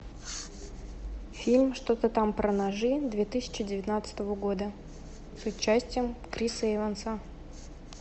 фильм что то там про ножи две тысячи девятнадцатого года с участием криса эванса